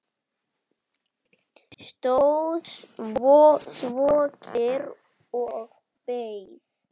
Stóð svo kyrr og beið.